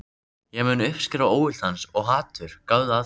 Ég mun uppskera óvild hans- og hatur, gáðu að því.